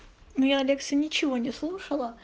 не алекса ничего не слушала